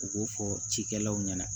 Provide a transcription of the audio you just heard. U b'o fɔ cikɛlaw ɲɛna